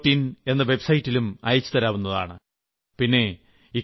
my government in എന്ന വെബ്സൈറ്റിലും അയച്ചുതരാവുന്നതാണ്